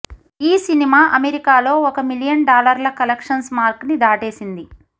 ఈ సినిమా అమెరికాలో ఒక మిలియన్ డాలర్ల కలెక్షన్స్ మార్క్ ని దాటేసింది